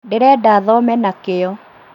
Ndĩrenda thome na kĩyo